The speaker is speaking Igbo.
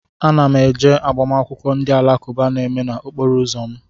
Ana m eje agbamakwụkwọ ndị alakụba a na-eme n'okporo ụzọ m